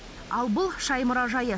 ал бұл шай мұражайы